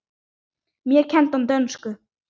Mér kenndi hann dönsku.